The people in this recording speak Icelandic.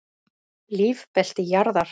Lífbelti jarðar.